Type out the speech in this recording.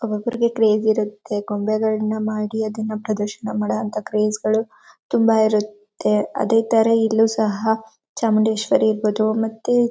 ಒಬ್ಬೊಬ್ಬರಿಗೆ ಕ್ರೇಜ್ ಇರತ್ತೆ. ಗೊಂಬೆಗಳನ್ನ ಮಾಡಿ ಅದನ್ನ ಪ್ರದರ್ಶನ ಮಾಡುವಂತಹ ಕ್ರೇಜ್ಗಳು ತುಂಬಾ ಇರತ್ತೆ. ಅದೇ ತರ ಇಲ್ಲೂ ಸಹ ಚಾಮುಂಡೇಶ್ವರಿ ಇರಬಹುದು ಮತ್ತೆ--